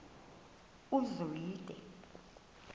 uzwide